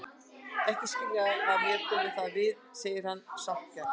Ekki svo að skilja að mér komi það við, segir hann sáttgjarn.